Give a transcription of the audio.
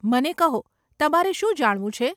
મને કહો, તમારે શું જાણવું છે?